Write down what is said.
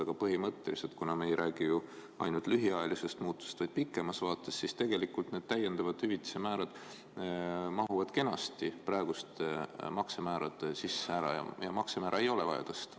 Aga põhimõtteliselt, kuna me ei räägi ju ainult lühiajalistest muutustest, vaid pikemast vaatest, siis tegelikult need täiendavad hüvitise määrad mahuvad kenasti praeguste maksemäärade sisse ära ja maksemäära ei ole vaja tõsta.